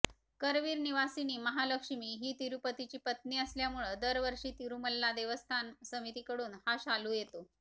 करवीर निवासिनी महालक्ष्मी ही तिरुपतीची पत्नी असल्यामुळं दरवर्षी तिरुमल्ला देवस्थान समितीकडुन हा शालु येतो